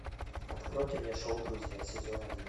откройте мне шоу друзья сезон один